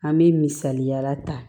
An bɛ misaliya ta